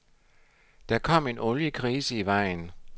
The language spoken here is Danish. Der kom en oliekrise i vejen.